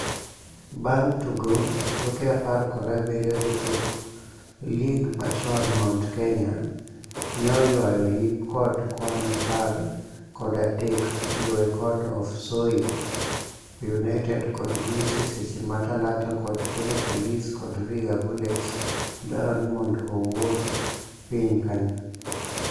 bang tugo tuke apar kod abiriyo jotuklig machon Mount Kenya ne oywayo yip kod kwan apar kod adek kiluwe kod of Soy United kod Gusii FC seche ma Talanta kod Kenya Police kod Vihiga Bullets dwaro nimondo owuog piny kanyo